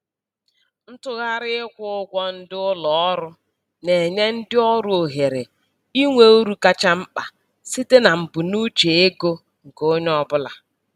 Ntụgharị ịkwụ ụgwọ ndị ụlọ ọrụ na-enye ndị ọrụ ohere inwe uru kacha mkpa site na mbunuche ego nke onye ọbụla.